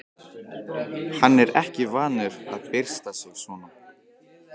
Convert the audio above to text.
Hann er ekki vanur að byrsta sig svona.